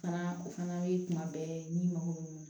Fana o fana ye kuma bɛɛ n'i mago bɛ mun